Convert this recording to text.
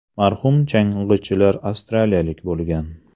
Marhum chang‘ichilar avstraliyalik bo‘lgan.